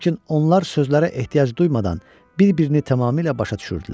Lakin onlar sözlərə ehtiyac duymadan bir-birini tamamilə başa düşürdülər.